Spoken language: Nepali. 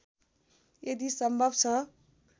यदि सम्भव छ